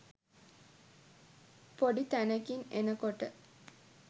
පොඩි තැනකින් එනකොට